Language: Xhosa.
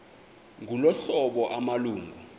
ngolu hlobo amalungu